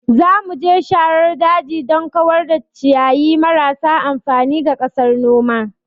Za mu je sharar daji don kawar da ciyayi marasa amfani ga ƙasar noma.